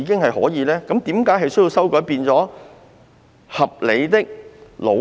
為何要修訂為"合理的努力"？